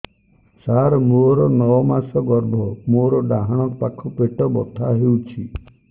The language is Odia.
ସାର ମୋର ନଅ ମାସ ଗର୍ଭ ମୋର ଡାହାଣ ପାଖ ପେଟ ବଥା ହେଉଛି